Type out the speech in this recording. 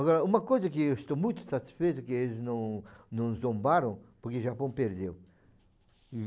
Agora, uma coisa que eu estou muito satisfeito que eles não não zombaram, porque o Japão perdeu.